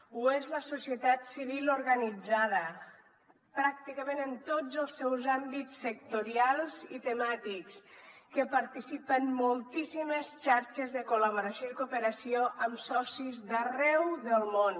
ho és la societat civil organitzada pràcticament en tots els seus àmbits sectorials i temàtics que participa en moltíssimes xarxes de col·laboració i cooperació amb socis d’arreu del món